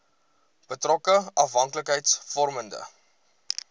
betrokke afhanklikheids vormende